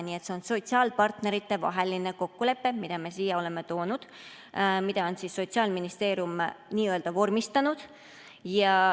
Nii et see on sotsiaalpartnerite kokkulepe, mille me siia oleme toonud ja mille on Sotsiaalministeerium n‑ö vormistanud.